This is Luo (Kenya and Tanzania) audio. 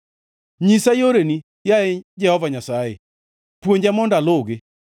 Nyisa yoreni, yaye Jehova Nyasaye, puonja mondo aluwgi;